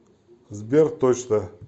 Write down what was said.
сбер точно